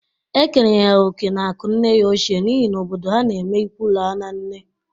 E kenyere ya oke n'akụ nne ya ochie n'ihi na obodo ha n'eme ịkwụ laa na nne.